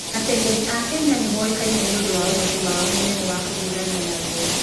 Ateng'eri a Kenya nĩ moĩkaine nĩ ũndũ wa ũhoti wao mũnene wa kũhiũrania na ruo.